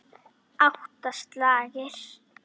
Við öxlum okkar ábyrgð.